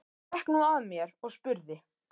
Hún gekk nú að mér og spurði